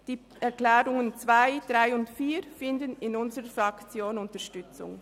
Die Planungserklärungen 2, 3 und 4 finden in unserer Fraktion Unterstützung.